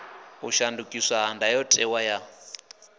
u shandukiswa ha ndayotewa ya